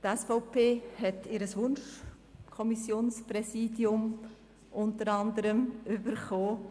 Die SVP hat unter anderem ihr Wunschpräsidium bekommen.